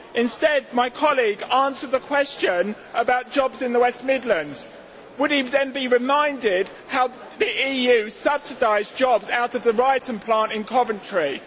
Instead, my colleague answered the question about jobs in the West Midlands. Would he then be reminded how the EU subsidised jobs out of the Ryton Plant in Coventry?